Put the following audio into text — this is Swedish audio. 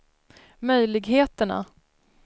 möjligheterna